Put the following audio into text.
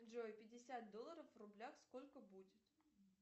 джой пятьдесят долларов в рублях сколько будет